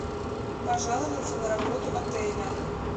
пожаловаться на работу отеля